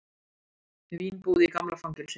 Vínbúð í gamla fangelsinu